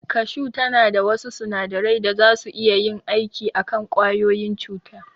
Kashu tana da wasu sunadarai da zasu iya yin aiki a kan ƙwayoyin cuta.